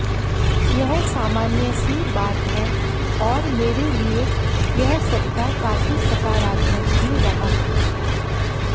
यह सामान्य सी बात है और मेरे लिए यह सप्ताह काफी सकारात्मक भी रहा